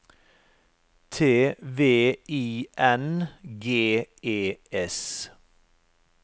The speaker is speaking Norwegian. T V I N G E S